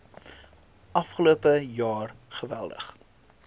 afgelope jaar geweldig